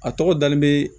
A tɔgɔ dalen bɛ